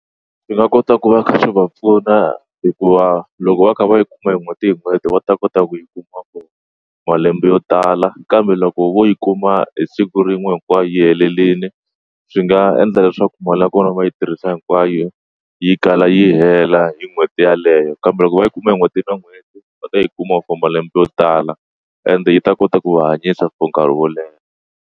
Swi nga kota ku va kha swi va pfuna hikuva loko va kha va yi kuma hi n'hweti hi n'hweti va ta kota ku yi kuma kona malembe yo tala kambe loko vo yi kuma hi siku rin'we hinkwayo yi helerile swi nga endla leswaku mali ya kona va yi tirhisa hinkwayo yi kala yi hela hi n'hweti yeleyo kambe loko va yi kuma hi n'hweti na n'hweti va ta yi kuma for malembe yo tala ende yi ta kota ku va hanyisa for nkarhi wo leha.